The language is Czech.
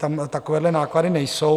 Tam takovéhle náklady nejsou.